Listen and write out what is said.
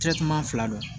fila don